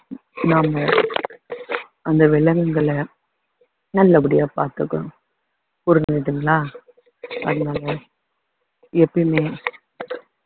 நாம அந்த விலங்குகளை நல்லபடியா பாத்துக்கணும் புரிஞ்சுதுங்களா அதனால எப்பயுமே